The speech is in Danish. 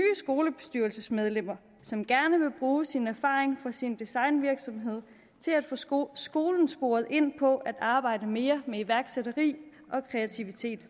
skolebestyrelsesmedlemmer som gerne vil bruge sin erfaring fra sin designvirksomhed til at få skolen skolen sporet ind på at arbejde mere med iværksætteri og kreativitet